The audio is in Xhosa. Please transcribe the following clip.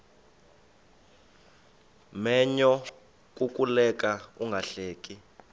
menyo kukuleka ungahleki